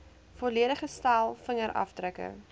volledige stel vingerafdrukke